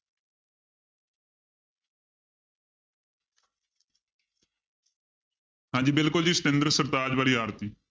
ਹਾਂਜੀ ਬਿਲਕੁਲ ਜੀ ਸਤਿੰਦਰ ਸਰਤਾਜ ਵਾਲੀ ਆਰਤੀ।